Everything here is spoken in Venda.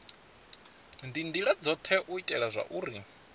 ndila dzothe u itela zwauri